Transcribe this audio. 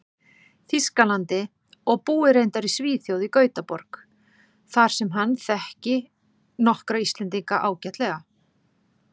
Þýskalandi, og búi reyndar í Svíþjóð, í Gautaborg, þar sem hann þekki nokkra Íslendinga ágætlega.